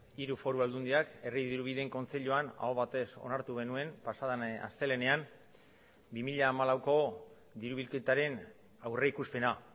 hiru foru aldundiak herri dirubideen kontseiluan aho batez onartu genuen pasaden astelehenean bi mila hamalauko dirubilketaren aurrikuspena